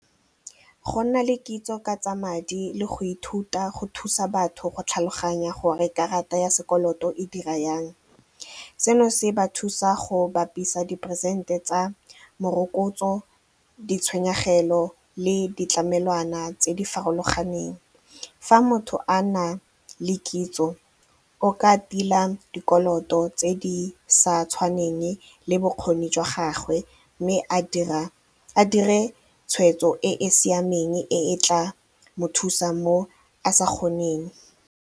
Go nna le kitso ka tsa madi le go ithuta go thusa batho go tlhaloganya gore karata ya sekoloto e dira yang, seno se ba thusa go bapisa diperesente tsa morokotso, ditshwenyegelo le ditlamelwana tse di farologaneng. Fa motho a na le kitso o ka tila dikoloto tse di sa tshwaneng le bokgoni jwa gagwe mme a dire tshweetso e e siameng e tla mo thusang mo a sa kgoneng.